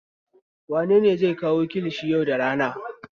Wane ne zai kawo kilishin yau da rana?